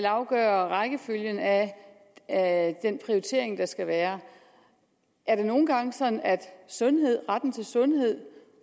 afgøre rækkefølgen af af den prioritering der skal være er det nogle gange sådan at sundhed retten til sundhed